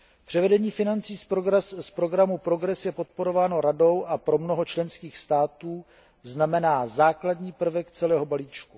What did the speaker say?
Převedení financí z programu PROGRESS je podporováno Radou a pro mnoho členských států znamená základní prvek celého balíčku.